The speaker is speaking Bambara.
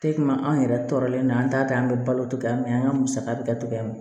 anw yɛrɛ tɔɔrɔlen don an t'a kɛ an bɛ balo togoya min na an ka musaka bɛ kɛ togoya min na